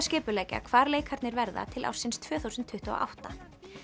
skipuleggja hvar leikarnir verða til ársins tvö þúsund tuttugu og átta